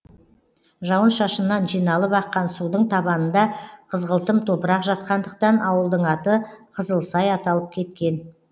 жауын шашыннан жиналып аққан судың табанында қызғылтым топырақ жатқандықтан ауылдың аты қызылсай аталып кеткен